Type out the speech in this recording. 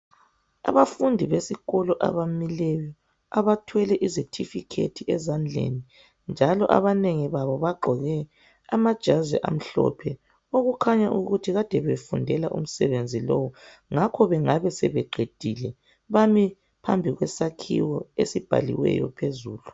Abafundi besikolo abamileyo, abathwele izetifikhethi ezandleni njalo abanengi babo bagqoke amajazi amhlophe okukhanya ukuthi kade befundela umsebenzi lowu ngakho bengabe sebeqedile. Bami phambi kwesakhiwo esibhaliweyo phezulu.